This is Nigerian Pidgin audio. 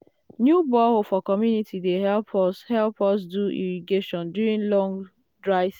new borehole for community dey help us help us do irrigation during long dry season.